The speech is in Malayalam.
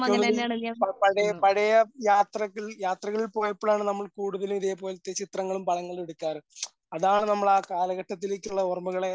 എനിക്ക് തോന്നുന്നു ഈ പഴ പഴയ യാത്രകൾ യാത്രകൾ പോയപ്പോഴാണ് നമ്മൾ കൂടുതലും ഇതേപോലത്തെ ചിത്രങ്ങളും പടങ്ങളും എടുക്കാറ്. അതാണ് നമ്മൾ ആ കാലഘട്ടത്തിലേക്ക് ഉള്ള ഓർമ്മകളെ